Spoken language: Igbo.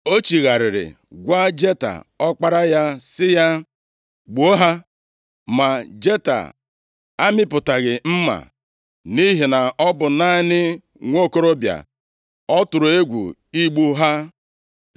O chigharịrị gwa Jeta, ọkpara ya, sị ya, “Gbuo ha!” Ma Jeta amịpụtaghị mma, nʼihi na ọ bụ naanị nwokorobịa. Ọ tụrụ egwu igbu ha.